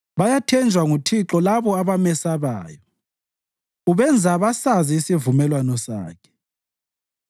Bayathenjwa nguThixo labo abamesabayo; ubenza basazi isivumelwano Sakhe.